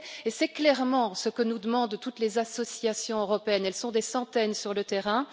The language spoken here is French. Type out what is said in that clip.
C'est clairement ce que nous demandent toutes les associations européennes, qui sont des centaines sur le terrain.